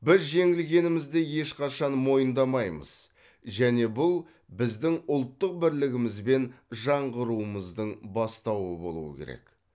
біз жеңілгенімізді ешқашан мойындамаймыз және бұл біздің ұлттық бірлігіміз бен жаңғыруымыздың бастауы болуы керек